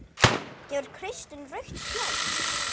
Gefur Kristinn rautt spjald?